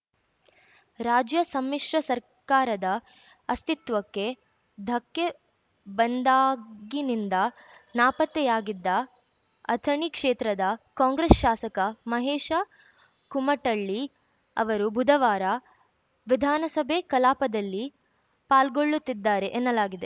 ರಾಜ್ಯ ಸಮ್ಮಿಶ್ರ ಸರ್ಕಾರದ ಅಸ್ತಿತ್ವಕ್ಕೆ ಧಕ್ಕೆ ಬಂದಾಗಿನಿಂದ ನಾಪತ್ತೆಯಾಗಿದ್ದ ಅಥಣಿ ಕ್ಷೇತ್ರದ ಕಾಂಗ್ರೆಸ್‌ ಶಾಸಕ ಮಹೇಶ ಕುಮಟಳ್ಳಿ ಅವರು ಬುಧವಾರ ವಿಧಾನಸಭೆ ಕಲಾಪದಲ್ಲಿ ಪಾಲ್ಗೊಳ್ಳುತ್ತಿದ್ದಾರೆ ಎನ್ನಲಾಗಿದೆ